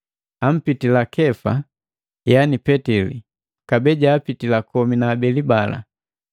ampitila Kefa, yaani Petili, kabee jaapitila komi na abeli bala.